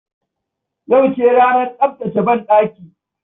Yauce ranar tsaftace banɗaki.